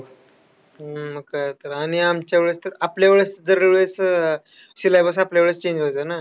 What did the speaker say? हम्म मग काय तर. आणि आमच्या वेळेस तर, आपल्या वेळेस दरवेळी अह syllabus आपल्यावेळेस change व्हायचा ना.